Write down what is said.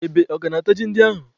Ebe aka na-ata ji ndị ahụ?